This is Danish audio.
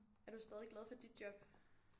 Er du stadig glad for dit job